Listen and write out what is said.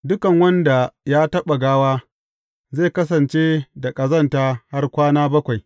Duk wanda ya taɓa gawa, zai kasance da ƙazanta har kwana bakwai.